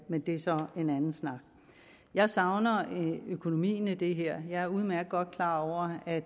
men det er så en anden snak jeg savner økonomien i det her jeg er udmærket godt klar over at